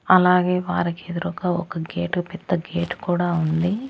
అలాగే వారికెదురూగా ఒక గేటు పెద్ద గేటు కూడా ఉంది.